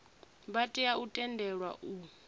vha tea u tendelwa u